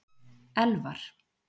Elvar